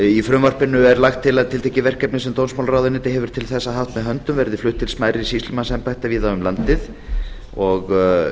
í frumvarpinu er lagt til að tiltekin verkefni sem dómsmálaráðuneytið hefur til þessa haft með höndum verði flutt til smærri sýslumannsembætta víða um landið og